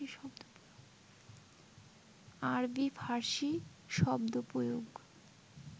আরবি-ফার্সি শব্দ প্রয়োগ